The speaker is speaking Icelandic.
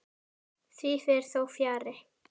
Því fer þó fjarri.